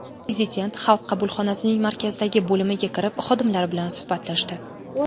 Prezident Xalq qabulxonasining markazdagi bo‘limiga kirib, xodimlar bilan suhbatlashdi.